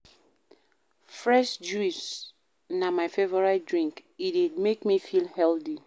Fresh juice na my favourite drink, e dey make me feel healthy.